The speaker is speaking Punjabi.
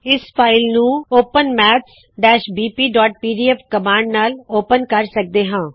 ਇਸ ਫ਼ਾਇਲ ਨੂਂ ਓਪਨ maths bpਪੀਡੀਐਫ ਕਮਾੰਡ ਨਾਲ ਓਪੇਨ ਕਰਦੇ ਹਾ